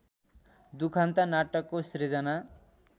दुखान्त नाटकको सृजना